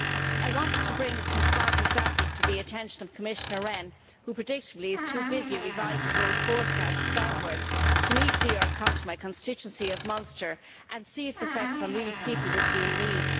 I wanted to bring some stark examples to the attention of Commissioner Rehn, who predictably is too busy revising growth forecasts downwards to meet me or come to my constituency of Munster and see its effects on real people with real needs.